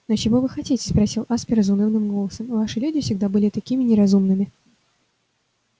но чего вы хотите спросил аспер заунывным голосом ваши люди всегда были такими неразумными